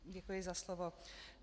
Děkuji za slovo.